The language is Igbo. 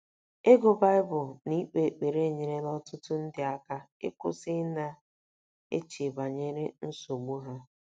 Ịgụ Baịbụl na ikpe ekpere enyerela ọtụtụ ndị aka ịkwụsị ịna -- eche banyere nsogbu ha.